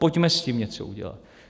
Pojďme s tím něco udělat.